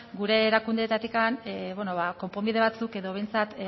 gure erakundeetatik konponbide batzuk edo behintzat